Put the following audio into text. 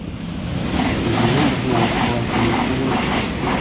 өзіңмен бірге оқыған төлеуқұл емес пе